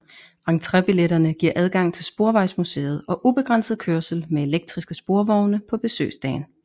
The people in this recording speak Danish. Entrébilletterne giver adgang til Sporvejsmuseet og ubegrænset kørsel med elektriske sporvogne på besøgsdagen